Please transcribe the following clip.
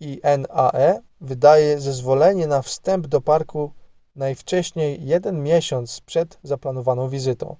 minae wydaje zezwolenie na wstęp do parku najwcześniej jeden miesiąc przed zaplanowaną wizytą